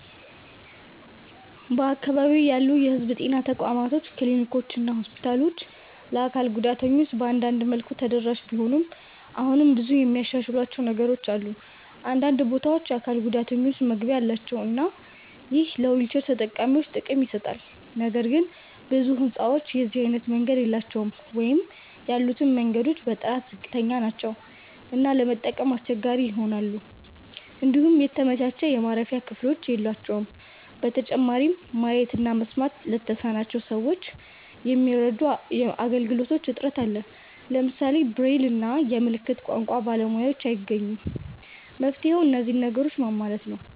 በአካባቢዬ ያሉ የህዝብ ጤና ተቋማት ክሊኒኮችና ሆስፒታሎች ለአካል ጉዳተኞች በአንዳንድ መልኩ ተደራሽ ቢሆኑም አሁንም ብዙ የሚያሻሽሏቸው ነገሮች አሉ። አንዳንድ ቦታዎች የአካል ጉዳተኞች መግቢያ አላቸው እና ይህ ለዊልቸር ተጠቃሚዎች ጥቅም ይሰጣል። ነገር ግን ብዙ ህንጻዎች የዚህ አይነት መንገድ የላቸውም ወይም ያሉትም መንገዶች በጥራት ዝቅተኛ ናቸው እና ለመጠቀም አስቸጋሪ ይሆናሉ። እንዲሁም የተመቻቸ የማረፊያ ክፍሎች የሏቸውም። በተጨማሪም ማየት እና መስማት ለተሳናቸው ሰዎች የሚረዱ አገልግሎቶች እጥረት አለ። ለምሳሌ ብሬል እና የምልክት ቋንቋ ባለሙያዎችን አይገኙም። መፍትሄውም እነዚህን ነገሮች ማሟላት ነው።